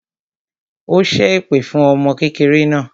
Ó ṣẹ́ èpè fún ọmọ kékeré náà